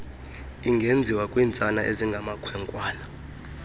ingenziwa kwiintsana ezingamakhwenkwana